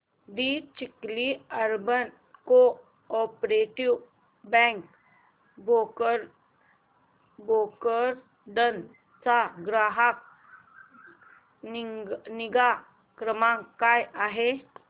दि Chikhli urban cooperative bank Bhokardan चा ग्राहक निगा क्रमांक काय आहे